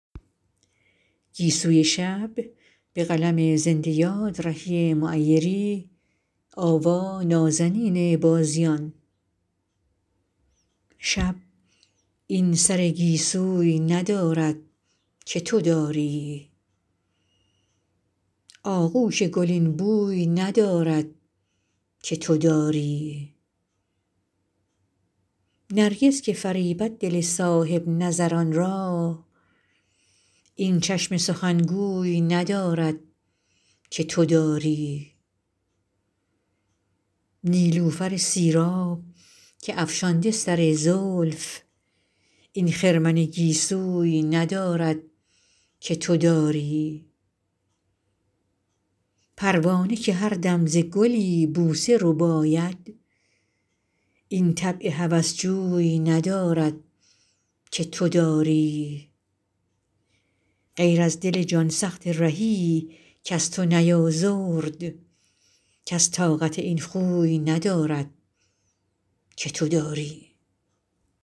شب این سر گیسوی ندارد که تو داری آغوش گل این بوی ندارد که تو داری نرگس که فریبد دل صاحب نظران را این چشم سخنگوی ندارد که تو داری نیلوفر سیراب که افشانده سر زلف این خرمن گیسوی ندارد که تو داری پروانه که هردم ز گلی بوسه رباید این طبع هوس جوی ندارد که تو داری غیر از دل جان سخت رهی کز تو نیازرد کس طاقت این خوی ندارد که تو داری